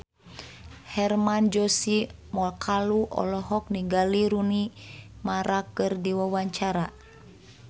Hermann Josis Mokalu olohok ningali Rooney Mara keur diwawancara